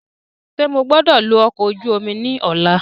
Ṣe mo gbọdọ lo ọkọ oju omi ni ọla?